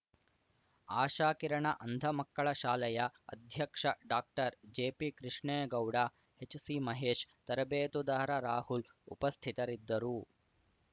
ಆಶಾಕಿರಣ ಅಂಧಮಕ್ಕಳ ಶಾಲೆಯ ಅಧ್ಯಕ್ಷ ಡಾಕ್ಟರ್ ಜೆಪಿಕೃಷ್ಣೇಗೌಡ ಎಚ್‌ಸಿಮಹೇಶ್‌ ತರಬೇತುದಾರ ರಾಹುಲ್‌ ಉಪಸ್ಥಿತರಿದ್ದರು